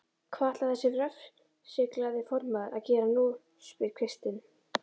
Hvað ætlar þessi refsiglaði formaður að gera nú? spyr Kristinn.